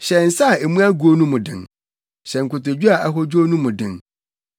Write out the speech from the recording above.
Hyɛ nsa a emu agow no mu den, hyɛ nkotodwe a ahodwow no mu den;